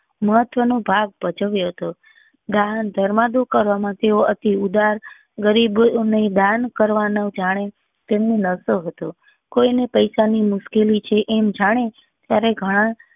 મહત્વ નો ભાગ ભજવ્યો હતો દાન ધર્માંતું કરવા માં તેઓ અતિ ઉદાર ગરીબો ને દાન કરવા નો જાણે તેમનો નશો હતો કોઈ ને પૈસા ની મુશ્કેલી છે એમ જાણી